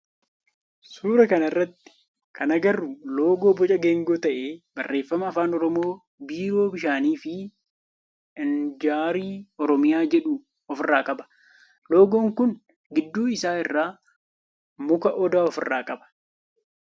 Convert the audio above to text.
Suuraa kana irratti kan agarru loogoo boca geengoo ta'ee barreeffama afaan oromoo biiroo bishaanii fi inarjii oromiyaa jedhu of irraa qaba. Loogoon kun gidduu isaa irraa muka odaa of irraa qaba.